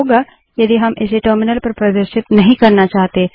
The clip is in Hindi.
क्या होगा यदि हम इसे टर्मिनल पर प्रदर्शित नहीं करना चाहते